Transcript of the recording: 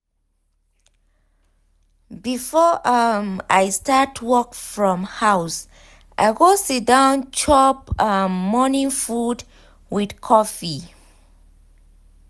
before um i start work from house i go siddon chop um morning food with coffee.